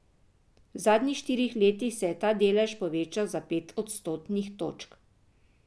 V zadnjih štirih letih se je ta delež povečal za pet odstotnih točk.